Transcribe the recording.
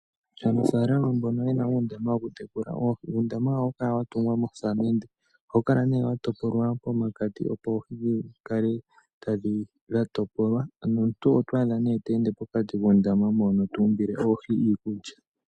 Aanafaalama mbono ye na uundama woku tekula oohi, uundama wawo oha wu kala wa tungwa nosamende. Oha wu kala ne wa topolwa pomakati, opo oohi dhi kale dha topolwa , nomuntu oto adha ne te ende pokati kuundama mono tu umbile oohi iikulya.